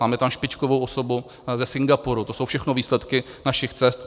Máme tam špičkovou osobu ze Singapuru, to jsou všechno výsledky našich cest.